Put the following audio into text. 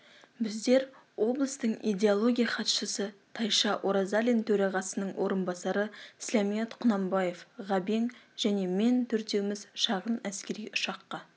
біздер облыстың иделогоия хатшысы тайша оразалин төрағасының орынбасары сләмият құнанбаев ғабең және мен төртеуміз шағын әскери ұшаққа